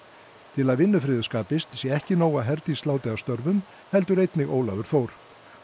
til að vinnufriður skapist sé ekki nóg að Herdís láti af störfum heldur einnig Ólafur Þór